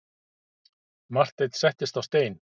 Marteinn settist á stein.